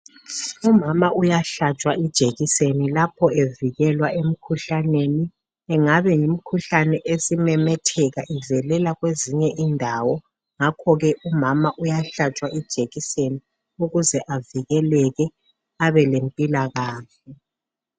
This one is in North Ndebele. Umama uyahlatshwa ijekiseni lapha evikwelwa emkhuhlaneni ingane yimikhuhlane esimemetheka ivevela kwezinye indawo ngakho ke umama uyahlatshwa ijekiseni ukuze avikeleke abelempilakahle.